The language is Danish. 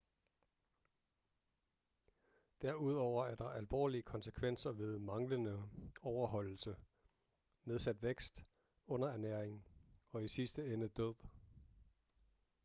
derudover er der alvorlige konsekvenser ved manglende overholdelse nedsat vækst underernæring og i sidste ende død